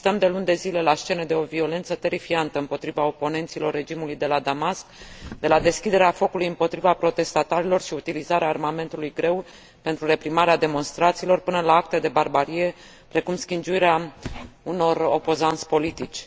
Asistăm de luni de zile la scene de o violență terifiantă împotriva oponenților regimului de la Damasc, de la deschiderea focului împotriva protestatarilor și utilizarea armamentului greu pentru reprimarea demonstrațiilor, până la acte de barbarie, precum schingiuirea unor opozanți politici.